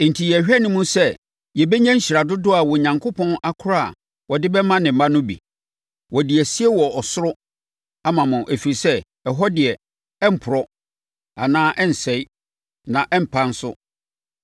enti yɛrehwɛ anim sɛ yɛbɛnya nhyira dodoɔ a Onyankopɔn akora a ɔde bɛma ne mma no bi. Ɔde asie wɔ ɔsoro ama mo ɛfiri sɛ, ɛhɔ deɛ, ɛremporɔ anaa ɛrensɛe, na ɛrempa nso.